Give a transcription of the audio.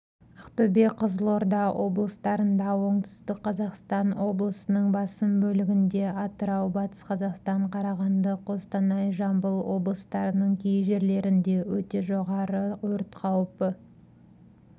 ақтөбе қызылорда облыстарында оңтүстік қазақстан облысының басым бөлігінде атырау батыс қазақстан қарағанды қостанай жамбыл облыстарының кей жерлерінде өте жоғары өрт қаупі